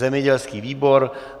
Zemědělský výbor.